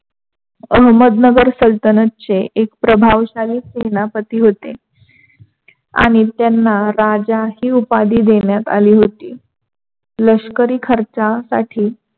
अहमदनगर सालतनचे एक भावश्याली शेनापती होते. आणि त्यांना राजा हि उपाधी देण्यात आली होती. लष्करी खर्चासाठी